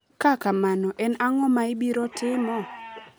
ka kamano, en ang'o maibiro timo?